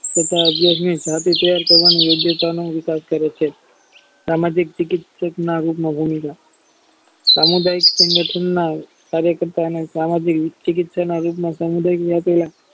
તથા અવ્યયાગની જતી preyar કરવામાં યોગ્યતાનું વિકાશ કરે છે સામાજિક ચિકિત્સક સામુદાયિક સંગઠનો કાર્ય કરતા સામાજિક વિકસિત રોજના સામુદાયિક